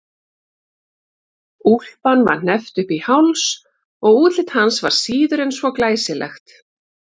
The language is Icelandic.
Úlpan var hneppt upp í háls og útlit hans var síður en svo glæsilegt.